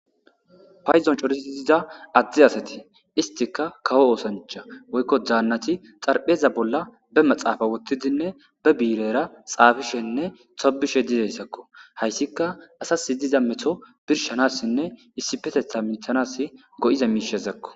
Paydon corattidi diza adde asati isttikka kawo oththancha woyko dannati xarpheza bolla be maaxafe wothidinne be bii'irera xaafishenne tobishe dizayssakoo hayssikka asas diza meto birshanas issipetetha hamethanas go'iza mishakoo.